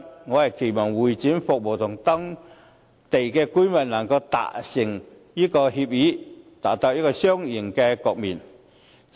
我期望會展服務與當區居民能夠達成協議，達到一個雙贏的局面。